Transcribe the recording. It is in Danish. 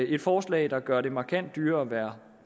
et forslag der gør det markant dyrere at være